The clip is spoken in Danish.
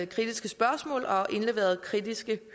kritiske spørgsmål og indleveret kritiske